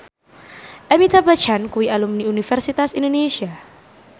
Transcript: Amitabh Bachchan kuwi alumni Universitas Indonesia